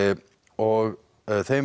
og þeim